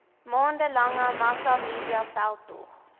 maande lange massamediaveldtog